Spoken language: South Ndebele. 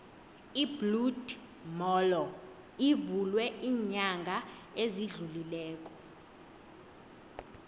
ibloed molo ivulwe ilnyanga ezidlulileko